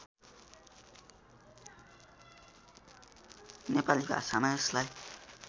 नेपाली भाषामा यसलाई